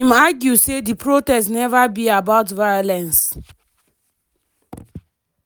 im argue say di protest neva be about violence.